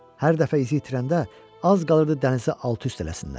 Hər dəfə izi itirəndə az qalırdı dənizi alt-üst eləsinlər.